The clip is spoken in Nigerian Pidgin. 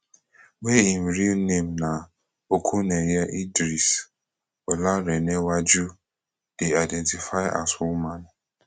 wey im real name na okuneye idris olarenewaju dey identify as woman